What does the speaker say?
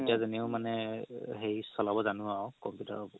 যানিও মানে হেৰি চলাব জানো আৰু computer